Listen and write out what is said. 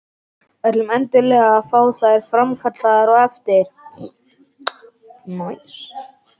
Ætlum endilega að fá þær framkallaðar á eftir.